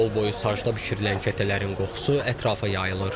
Yolboyu sacda bişirilən kətələrin qoxusu ətrafa yayılır.